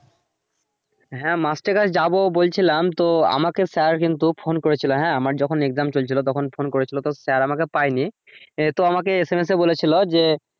হ্যা master এর কাছে যাবো বলছিলাম তো আমাকে sir কিন্তু ফোন করেছিলো হ্যা আমার যখন exam চলছিলো তখন ফোন করেছিলো তো sir আমাকে পায়নি আহ তো আমাকে SMS এ বলেছিলো যে,